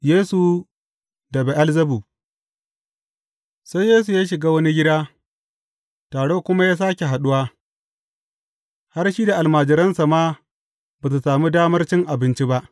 Yesu da Be’elzebub Sai Yesu ya shiga wani gida, taro kuma ya sāke haɗuwa, har shi da almajiransa ma ba su sami damar cin abinci ba.